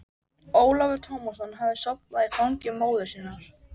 Ólafur Tómasson hafði sofnaði í fangi móður sinnar.